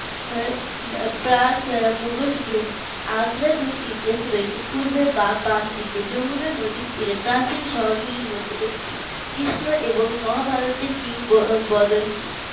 প্রাতঃ মোঘল যুগ আগ্রা দুটি ইতিহাস রয়েছে। পূর্বে বা বাম দিকে যমুনা নদীর তীরে প্রাচীন শহরগুলির মধ্যে একটি কৃষ্ণ এবং মহাভারতের কিংবদন্তি